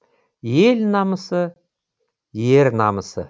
ел намысы ер намысы